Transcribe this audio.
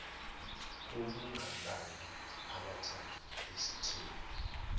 ubungabala abathathu ezitheni